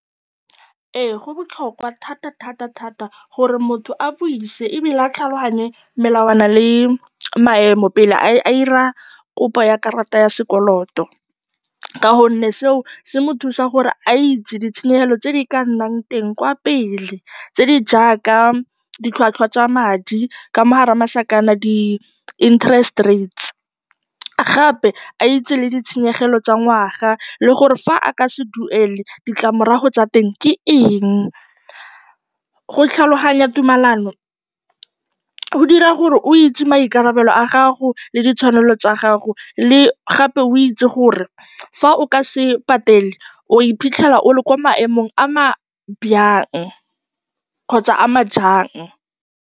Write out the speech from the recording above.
Ee, go botlhokwa thatathatathata gore motho a buise ebile a tlhaloganye melawana le maemo pele a dira kopo ya karata ya sekoloto ka gonne seo se mo thusa gore a itse ditshenyegelo tse di ka nnang teng kwa pele tse di jaaka ditlhwatlhwa tsa madi, ka mo gare ga masakana, di-interest rates, gape a itse le ditshenyegelo tsa ngwaga le gore fa a ka se duele, ditlamorago tsa teng ke eng. Go tlhaloganya tumalano go dira gore o itse maikarabelo a gago le ditshwanelo tsa gago, le gape o itse gore fa o ka se patele o ya go iphitlhela o le kwa maemong a a jang kgotsa a a ntseng jang.